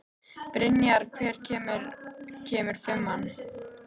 Brynjar, hvenær kemur fimman?